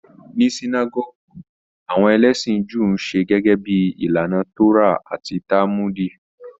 Ní Sinágọ́gù, àwọn ẹlẹ́sìn Júù ńṣe gẹ́gẹ́ bíi ìlànà Tórà àti Tálmùdì.